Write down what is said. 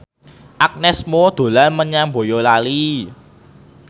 Agnes Mo dolan menyang Boyolali